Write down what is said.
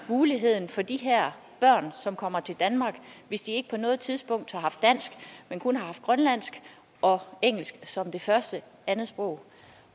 muligheden for de her børn som kommer til danmark hvis de ikke på noget tidspunkt har haft dansk men kun har haft grønlandsk og engelsk som det første andetsprog